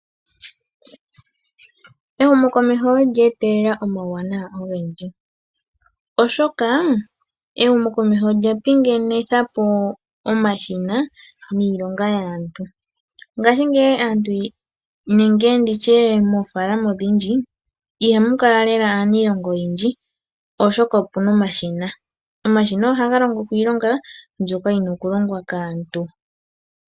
Ehumo komeho olya etelela uuwanawa owundji, oshoka ehumu komeho olya pinganitha po omashina niilonga yaantu mongaashingeyi aantu nenge nditye moofalama ondhindji ihamu kala lela aantu, oshoka opuna omashina. Omashina ohaga longo po iilonga mbyoka yina oku longwa kaantu.